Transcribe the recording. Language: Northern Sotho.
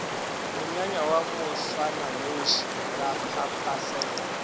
monyanya wa moswananoši ra phaphasela